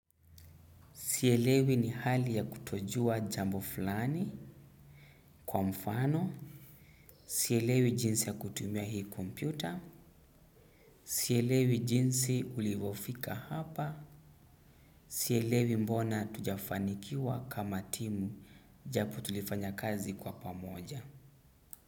Sielewi ni hali ya kutojua jambo fulani kwa mfano. Sielewi jinsi ya kutumia hii kompyuta. Sielewi jinsi ulivyofika hapa. Sielewi mbona tujafanikiwa kama timu japo tulifanya kazi kwa pamoja.